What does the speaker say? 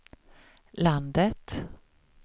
landet